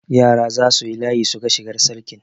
Yara za su yi layi su ga shigar Sarkin.